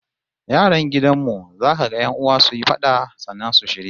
Yaran gidan mu za kaga 'yan'uwa suyi fada, sannan su shirya